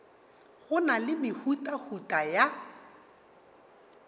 go na le mehutahuta ya